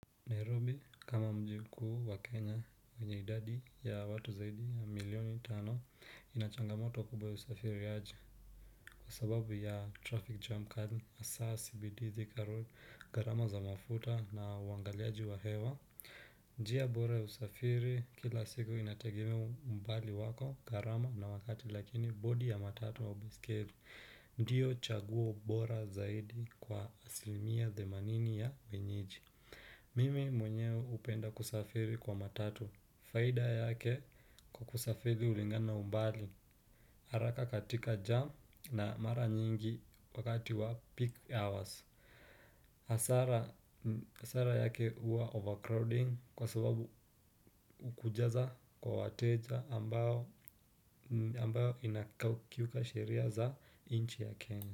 Nairobi kama mji kuu wa Kenya yenye idadi ya watu zaidi ya milioni tano inachangamoto kubwa ya usafirishaji. Kwa sababu ya traffic jam kali hasa cbd, thika road, gharama za mafuta na waangaliaji wa hewa Nairobi kama mjiku wa Kenya wenye idadi ya watu zaidi ya milioni tano inachangamoto kubwa ya usafiri ya aji. Kwa sababu ya traffic jam kadi asaa sibi dhizi karoli karama za mafuta na wangaliaji wa hewa. Mimi mwenyewe hupenda kusafiri kwa matatu, faida yake kwa kusafiri hulingana na umbali, haraka katika jam na mara nyingi wakati wa peak hours hasara yake huwa overcrowding kwa sababu kujaza kwa wateja ambayo inakiuka sheria za inchi ya Kenya.